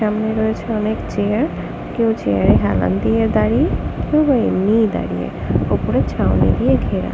সামনে রয়েছে অনেক চেয়ার কেউ চেয়ার এ হেলান দিয়ে দাঁড়িয়ে কেউ বা এমনিই দাঁড়িয়ে ওপরে ছাউনি দিয়ে ঘেরা।